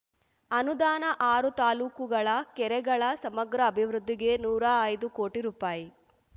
ಅನುದಾನ ಆರು ತಾಲೂಕುಗಳ ಕೆರೆಗಳ ಸಮಗ್ರ ಅಭಿವೃದ್ಧಿಗೆ ನೂರಾ ಐದು ಕೋಟಿ ರುಪಾಯಿ